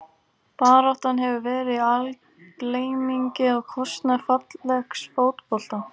Baráttan hefur verið í algleymingi á kostnað fallegs fótbolta.